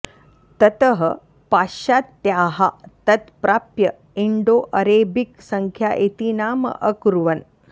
ततः पाश्चात्त्याः तत् प्राप्य इण्डो अरेबिक् सङ्ख्या इति नाम अकुर्वन्